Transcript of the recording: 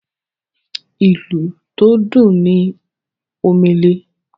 ìlù tó dùn ní Omele.